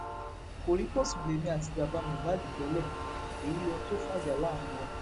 kọríkọsùn lèmi àti bàbá mohbad tẹlé èyí lóhun tó fàjà láàrin wa